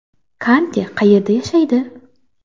Kante qayerda yashaydi?